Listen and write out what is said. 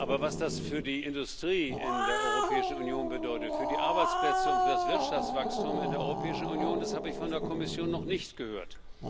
Aber was das für die Industrie in der Europäischen Union bedeutet, für die Arbeitsplätze und das Wirtschaftswachstum in der Europäischen Union, das habe ich von der Kommission noch nicht gehört.